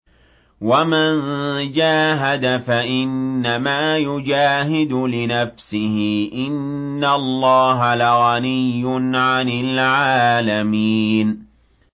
وَمَن جَاهَدَ فَإِنَّمَا يُجَاهِدُ لِنَفْسِهِ ۚ إِنَّ اللَّهَ لَغَنِيٌّ عَنِ الْعَالَمِينَ